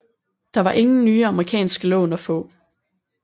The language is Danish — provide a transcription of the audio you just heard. Der var ingen nye amerikanske lån at få